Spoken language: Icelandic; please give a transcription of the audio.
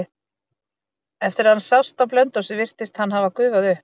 Eftir að hann sást á Blönduósi virtist hann hafa gufað upp.